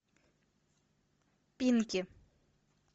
пинки